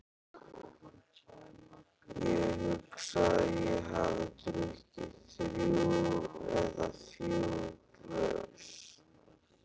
Ég hugsa að ég hafi drukkið þrjú eða fjögur glös.